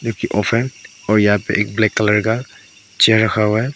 Fan और यहां पे एक ब्लैक कलर का चेयर रखा हुआ है।